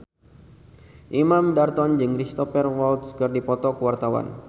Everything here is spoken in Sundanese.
Imam Darto jeung Cristhoper Waltz keur dipoto ku wartawan